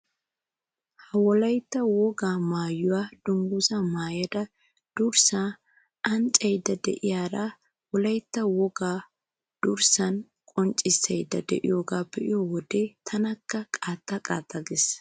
Ha wolaytta wogaa maayuwa dungguzzaa maayada durssaa anccaydda de'iyara wolaytta wogaa durssan qonccissaydda de'iyogaa be'iyo wode tanakkaa qaaxaxa qaaxxa gees.